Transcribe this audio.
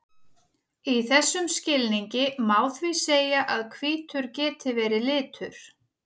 Í þessum skilningi má því segja að hvítur geti verið litur.